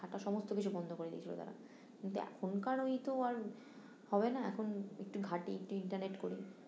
হাঁটা সমস্ত কিছু বন্ধ করে দিয়ে ছিলো তারা, কিন্তু এখন কার ওই তো আর হবে না এখন একটু ঘাঁটি একটু ইন্টারনেট করি